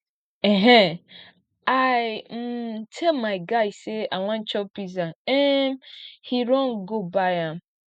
um i um tell my guy say i wan chop pizza um he run go buy am